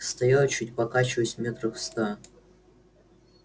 стоял чуть покачиваясь метрах в ста